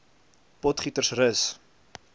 potgietersrus